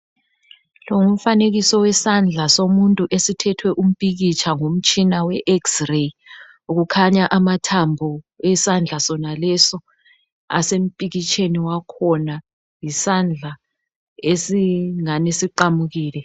Lo ngumfanekiso wesandla somuntu esithethwe umpikitsha ngomtshina we xireyi kukhanya amathambo esandla sonaleso asempikitsheni wakhona isandla esingani siqamukile,